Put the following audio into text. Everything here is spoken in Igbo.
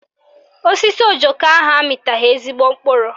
Osisi ojoko ahụ amịtaghị ezigbo mkpụrụ